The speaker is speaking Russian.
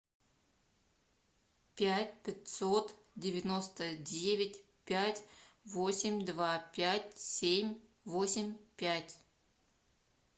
пять пятьсот девяносто девять пять восемь два пять семь восемь пять